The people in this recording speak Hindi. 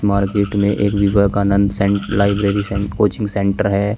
मार्केट में एक विवेकानंद सेंट लाइब्रेरी सेंट कोचिंग सेंटर है।